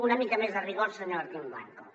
una mica més de rigor senyor martín blanco